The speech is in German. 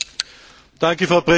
Frau Präsidentin!